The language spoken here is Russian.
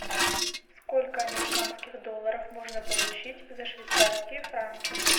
сколько американских долларов можно получить за швейцарские франки